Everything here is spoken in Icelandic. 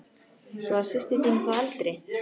Svo að systir þín er þá eldri?